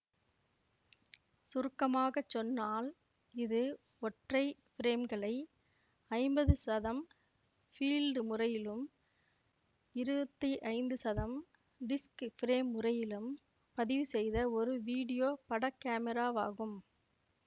சுருக்கமாக சொன்னால் இது ஒற்றை ஃபிரேம்களை ஐம்பது சதம் ஃபீல்டு முறையிலும் இருவத்தி ஐந்து சதம் டிஸ்க் ஃபிரேம் முறையிலும் பதிவு செய்த ஒரு வீடியோ படக் காமிராவாகும்